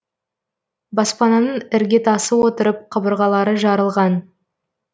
баспананың іргетасы отырып қабырғалары жарылған